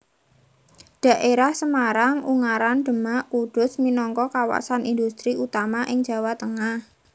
Dhaérah Semarang Ungaran Demak Kudus minangka kawasan indhustri utama ing Jawa Tengah